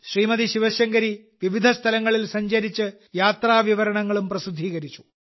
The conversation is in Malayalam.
ശ്രീമതി ശിവശങ്കരി വിവിധ സ്ഥലങ്ങളിൽ സഞ്ചരിച്ച് യാത്രാവിവരണങ്ങളും പ്രസിദ്ധീകരിച്ചു